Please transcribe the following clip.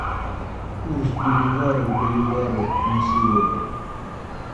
курс боливара к боливару на сегодня